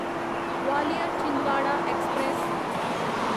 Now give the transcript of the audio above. Gwalior Chhindwara express